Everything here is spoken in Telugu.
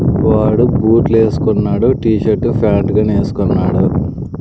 వాడు బూట్లు వేసుకున్నాడు టీ షర్టు ప్యాంట్ గాని వేసుకున్నాడు.